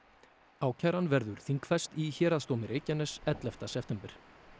ákæran verður þingfest í Héraðsdómi Reykjaness ellefta september